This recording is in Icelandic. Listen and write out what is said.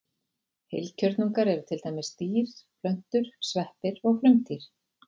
Heilkjörnungar eru til dæmis dýr, plöntur, sveppir og frumdýr.